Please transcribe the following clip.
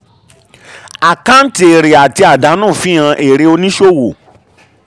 àkáǹtì èrè àti àdánù fihan èrè oníṣòwò.